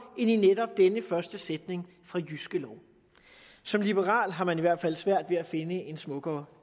end i netop denne første sætning fra jyske lov som liberal har man i hvert fald svært ved at finde en smukkere